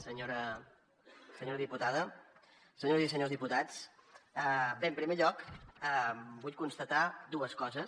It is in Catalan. senyora diputada senyores i senyors diputats bé en primer lloc vull constatar dues coses